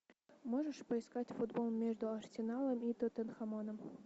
можешь поискать футбол между арсеналом и тоттенхэмом